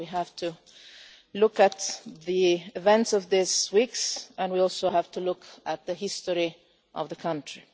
We have to look at the events of these weeks and we also have to look at the history of the country.